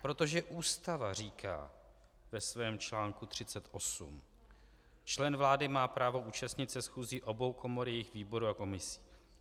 Protože Ústava říká ve svém článku 38: "Člen vlády má právo účastnit se schůzí obou komor, jejich výborů a komisí.